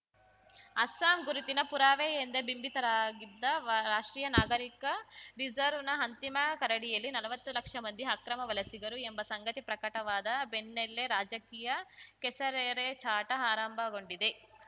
ಅಸ್ಸಾಂ ಗುರುತಿನ ಪುರಾವೆ ಎಂದೇ ಬಿಂಬಿತರಾಗಿದ್ದ ರಾಷ್ಟ್ರೀಯ ನಾಗರಿಕ ರಿಜಿರ್ವ್ ನ ಅಂತಿಮ ಕರಡಿನಲ್ಲಿ ನಲ್ವತ್ತು ಲಕ್ಷ ಮಂದಿ ಅಕ್ರಮ ವಲಸಿಗರು ಎಂಬ ಸಂಗತಿ ಪ್ರಕಟವಾದ ಬೆನ್ನಲ್ಲೇ ರಾಜಕೀಯ ಕೆಸರೆರೆಚಾಟ ಆರಂಭಗೊಂಡಿದೆ